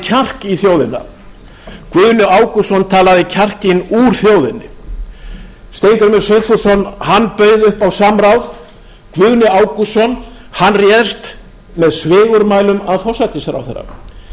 kjark í þjóðina guðni ágústsson talaði kjarkinn úr þjóðinni steingrímur sigfússon bauð upp á samráð guðni ágústsson réðst með svigurmælum að forsætisráðherra það er honum